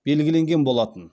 белгіленген болатын